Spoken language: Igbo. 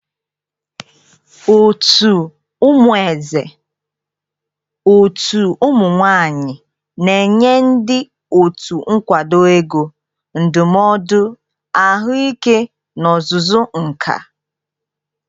Otu "Umueze Òtù Ụmụ nwanyị" na-enye ndị otu nkwado ego, ndụmọdụ ahụike na ọzụzụ nka.